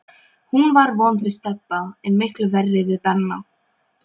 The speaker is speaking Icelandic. Hún var vond við Stebba, en miklu verri við Benna.